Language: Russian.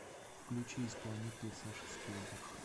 включи исполнителя саша спилберг